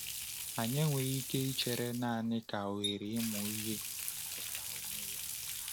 Anyị enweghị ike ichere naanị ka ohere ịmụ ihe pụta onwe ya.